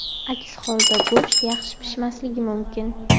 Aks holda go‘sht yaxshi pishmasligi mumkin.